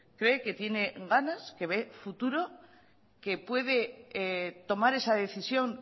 cree que tiene ganas que ve futuro qué puede tomar esa decisión